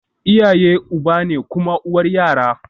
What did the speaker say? Iyaye uba ne kuma uwar yara